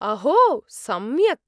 अहो! सम्यक्।